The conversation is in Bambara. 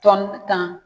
Tɔn tan